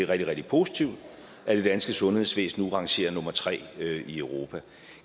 rigtig positivt at det danske sundhedsvæsen nu rangerer som nummer tre i europa